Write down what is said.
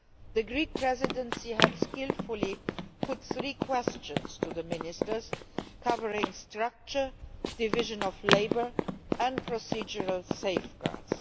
The Greek Presidency had skilfully put three questions to the Ministers, covering structure, division of labour and procedural safeguards.